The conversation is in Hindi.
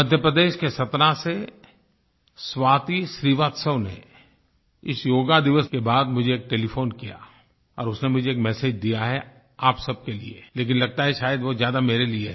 मध्य प्रदेश के सतना से स्वाति श्रीवास्तव ने इस योग दिवस के बाद मुझे एक टेलीफोन किया और उसने मुझे एक मेसेज दिया है आप सबके लिए लेकिन लगता है शायद वो ज़्यादा मेरे लिए है